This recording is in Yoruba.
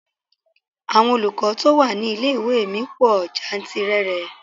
Àwọn olùkọ́ tó wà ní ilé-ìwé mi pò jantìrẹrẹ.